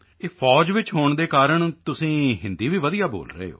ਇਹ ਫੌਜ ਵਿੱਚ ਹੋਣ ਦੇ ਕਾਰਨ ਤੁਸੀਂ ਹਿੰਦੀ ਵੀ ਵਧੀਆ ਬੋਲ ਰਹੇ ਹੋ